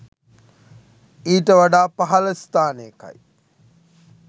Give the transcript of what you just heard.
ඊට වඩා පහළ ස්ථානයකයි.